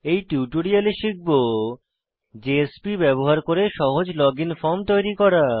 এই টিউটোরিয়ালে শিখব জেএসপি ব্যবহার করে সহজ লগইন ফর্ম তৈরি করা